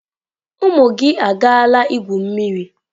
Ụmụ gị agaala igwu mmiri?